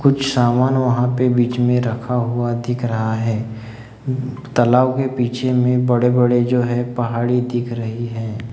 कुछ सामान वहां पे बीच में रखा हुआ दिख रहा है तलाव के पीछे में बड़े बड़े बड़े जो है पहाड़ी दिख रही है।